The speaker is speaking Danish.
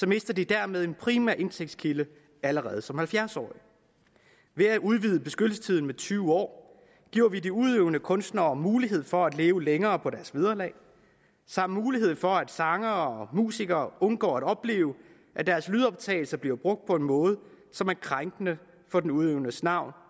mister de dermed en primær indtægtskilde allerede som halvfjerds årige ved at udvide beskyttelsestiden med tyve år giver vi de udøvende kunstnere mulighed for at leve længere på deres vederlag samt mulighed for at sangere og musikere undgår at opleve at deres lydoptagelser bliver brugt på en måde som er krænkende for den udøvendes navn